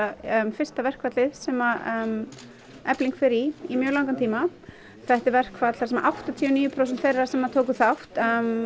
fyrsta verkfallið sem Efling fer í í mjög langan tíma þetta er verkfall þar sem áttatíu og níu prósent þeirra sem tóku þátt